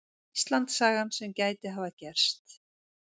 Íslandssagan sem gæti hafa gerst.